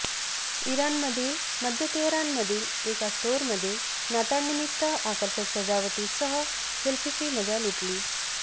इराणमधील मध्य तेहरानमधील एका स्टोअरमध्ये नाताळनिमित्त आकर्षक सजावटीसह सेल्फीची मजा लुटली